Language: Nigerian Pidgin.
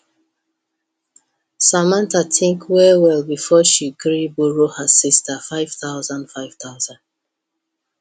samantha think well well before she gree borrow her sister five thousand five thousand